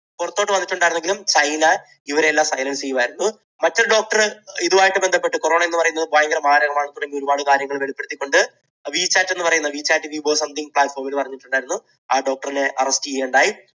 പുറത്തോട്ട് വന്നിട്ടുണ്ടായിരുന്നു എങ്കിലും ചൈന ഇവരെയെല്ലാം ചെയ്യുകയായിരുന്നു. മറ്റൊരു doctor ഇതുമായി ബന്ധപ്പെട്ട് കുറവാണ് എന്നു പറയുന്നത് ഭയങ്കര മാരകമാണ് തുടങ്ങി ഒരുപാട് കാര്യങ്ങൾ വെളിപ്പെടുത്തിക്കൊണ്ട് WeChat we for something പ്ലാറ്റ്‌ഫോമിൽ പറഞ്ഞിട്ടുണ്ട്, വന്നിട്ടുണ്ട് പറഞ്ഞിട്ടുണ്ടായിരുന്നു, ആ doctor അറസ്റ്റ് ചെയ്യുകയുണ്ടായി